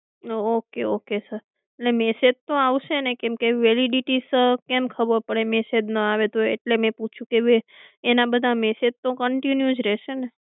Okay okay sir અને message તો આવશે ને કે વેલિડિટી કેમ ખબર પડે કે મેસેજ ન આવે તો એટલે મેં પૂછ્યું કે એના બધી મેસેજ તો કન્ટિન્યુ રહેશે ને?